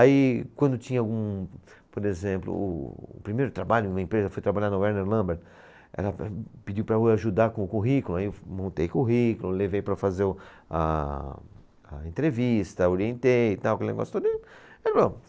Aí, quando tinha algum, por exemplo, o primeiro trabalho numa empresa, foi trabalhar na Werner Lambert, ela pediu para eu ajudar com o currículo, aí eu montei currículo, levei para fazer o, a, a entrevista, orientei e tal, aquele negócio todo. E bom